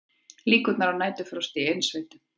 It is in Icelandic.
Líkur á næturfrosti í innsveitum